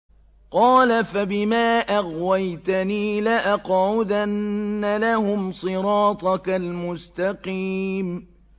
قَالَ فَبِمَا أَغْوَيْتَنِي لَأَقْعُدَنَّ لَهُمْ صِرَاطَكَ الْمُسْتَقِيمَ